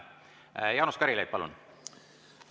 Jaanus Karilaid, palun!